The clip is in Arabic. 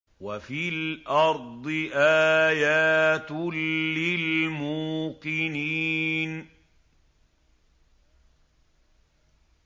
وَفِي الْأَرْضِ آيَاتٌ لِّلْمُوقِنِينَ